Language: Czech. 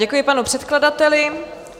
Děkuji panu předkladateli.